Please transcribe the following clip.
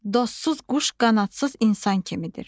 Dostsuz quş qanadsız insan kimidir.